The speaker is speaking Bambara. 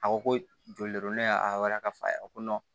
A ko ko joli don ne y'a ka fɔ a ye ko